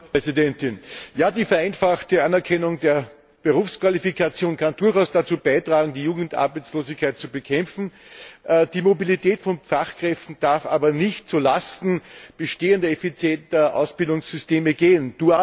Frau Präsidentin! Die Vereinfachung der Anerkennung von Berufsqualifikationen kann durchaus dazu beitragen, die Jugendarbeitslosigkeit zu bekämpfen. Die Mobilität von Fachkräften darf aber nicht zulasten bestehender effizienter Ausbildungssysteme gehen.